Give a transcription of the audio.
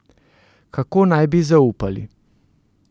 Kako naj bi zaupali?